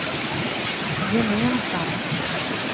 gemensam